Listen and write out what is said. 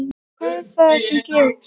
Hvað er það sem gerist?